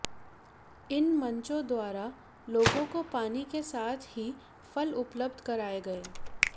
इन मंचों द्वारा लोगों को पानी के साथ ही फल उपलब्ध कराए गए